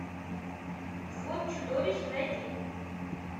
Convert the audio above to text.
взвод чудовищ найди